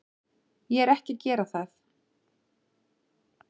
Ég er ekki að gera það.